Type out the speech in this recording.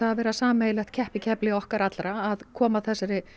að vera sameiginlegt keppikefli okkar allra að koma þessum